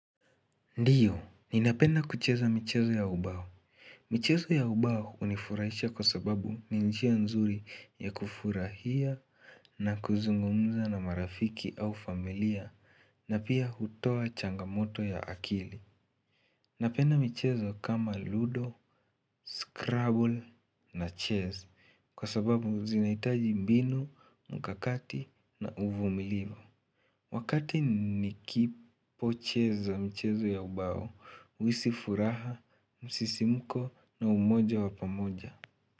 Ndiyo, ninapenda kucheza michezo ya ubao. Michezo ya ubao hunifurahisha kwa sababu ni njia nzuri ya kufurahia na kuzungumza na marafiki au familia na pia hutoa changamoto ya akili. Napenda michezo kama ludo, scrabble na chess kwa sababu zinahitaji mbinu, mkakati na uvumilivu. Wakati nikipo chezo mchezo ya ubao, huhisi furaha, msisimuko na umoja wa pamoja.